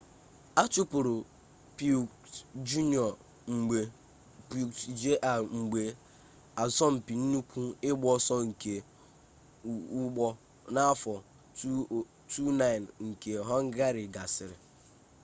achụpụrụ piquet jr mgbe asọmpi nnukwu ịgba ọsọ nke ụgbọ n'afọ 2009 nke họngarị gasịrị